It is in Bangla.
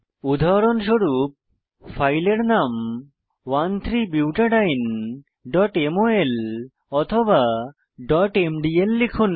উদাহরণস্বরূপ ফাইলের নাম 13butadieneমল বা mdl লিখুন